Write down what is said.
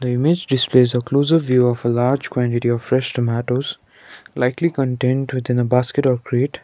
image displays a closer view of a large quantity of fresh tomatoes likely contained within a basket or crate.